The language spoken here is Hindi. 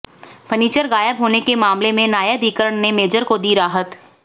फर्नीचर गायब होने के मामले में न्यायाधिकरण ने मेजर को दी राहत